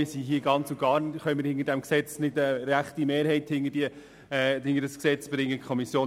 Wir sehen auch, dass wir keine rechte Mehrheit hinter dieses Gesetz bringen können.